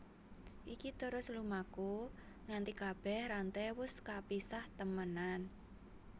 Iki terus lumaku nganti kabèh ranté wus kapisah temenan